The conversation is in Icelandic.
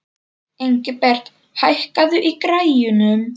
Ingibert, hækkaðu í græjunum.